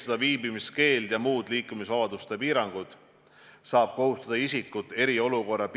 See ei ole mitte selleks, et inimesi hirmutada, vaid vastupidi, et olla valmis aitama kõige hullemas olukorras.